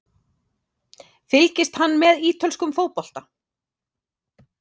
Fylgist hann með ítölskum fótbolta?